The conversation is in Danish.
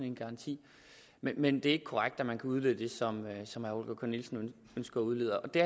en garanti men det er ikke korrekt at man kan udlede det som herre holger k nielsen ønsker at udlede det